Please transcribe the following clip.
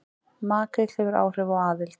Makríll hefur áhrif á aðild